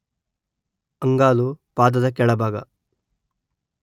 ಅಂಗಾಲು ಪಾದದ ಕೆಳಭಾಗ